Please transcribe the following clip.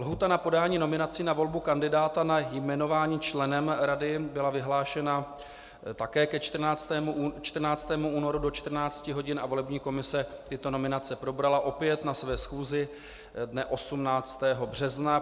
Lhůta na podání nominací na volbu kandidáta na jmenování členem rady byla vyhlášena také ke 14. únoru do 14 hodin a volební komise tyto nominace probrala opět na své schůzi dne 18. března.